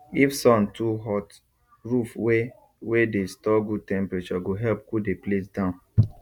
if sun too hot roof wey wey dey store good temprature go help cool the place down